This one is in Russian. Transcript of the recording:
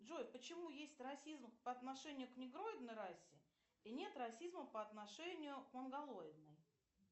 джой почему есть расизм по отношению к негроидной расе и нет расизма по отношению к монголоидной